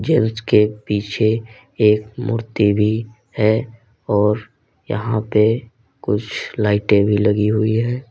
Gents के पीछे एक मूर्ति भी है और यहां पे कुछ लाइटें भी लगी हुई है।